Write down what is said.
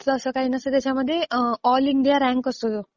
तसं काही नसतं त्याच्यामध्ये ऑल इंडिया रँक असतो.